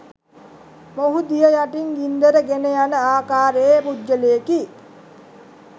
මොහු දිය යටින් ගින්දර ගෙනයන ආකාරයේ පුද්ගලයෙකි.